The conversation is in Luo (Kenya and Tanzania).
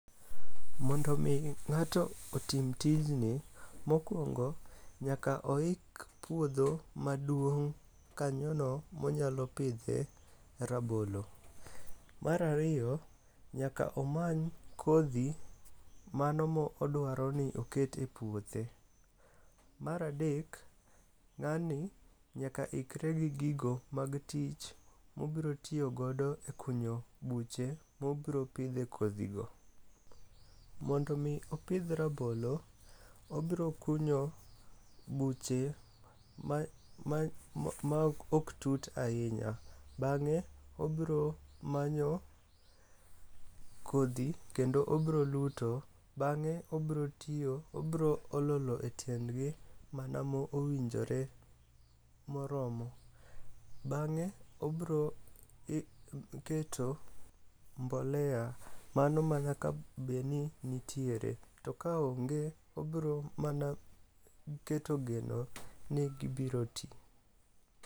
Mondo omi ng'ato otim tijni, mokwongo nyaka oik puodho maduong' kanyono monyalo pidhe rabolo. Mar ariyo, nyaka omany kodhi mano modwaro ni oket e puothe. Mar adek, ng'ani nyaka ikre gi gigo mag tich mobrotiyogodo e kunyo buche mobropidhe kodhigo. Mondo omi opidh rabolo, obro kunyo buche maok tut ahinya, bang'e obromanyo kodhi kendo obroluto. Bang'e obro olo lo e tiendgi mana mowinjore moromo. Bang'e obroketo mbolea mano manyaka bedni nitiere. To kaonge, obro mana keto geno ni gibiro ti.